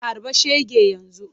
Harba shege yanzu!